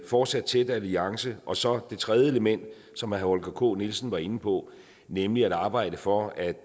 fortsat tæt alliance og så det tredje element som herre holger k nielsen var inde på nemlig at arbejde for at